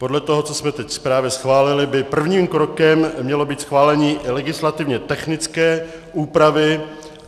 Podle toho, co jsme právě teď schválili, by prvním krokem mělo být schválení legislativně technické úpravy.